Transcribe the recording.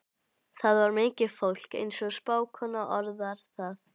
Þar var mikið fólk, eins og spákonan orðar það.